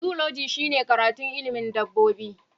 Zoology shine karatun ilimin dabbobi